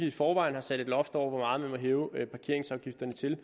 i forvejen har sat et loft over hvor meget man må hæve parkeringsafgifterne til